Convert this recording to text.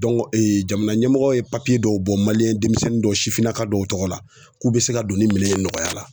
jamana ɲɛmɔgɔw ye dɔw bɔ demisɛnnin dɔw sifinnaka dɔw tɔgɔ la k'u be se ka don ni minɛn ye nɔgɔya la.